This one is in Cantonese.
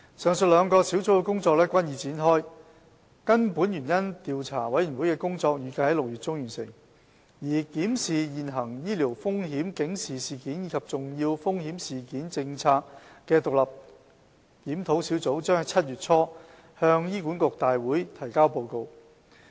上述兩個小組的工作均已展開，根本原因調查委員會的工作預計在6月中完成，而檢視現行醫療風險警示事件及重要風險事件政策的獨立檢討小組，將於7月初向醫管局大會提交報告。